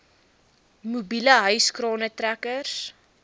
mobiele hyskrane trekkers